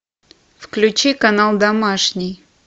включи канал домашний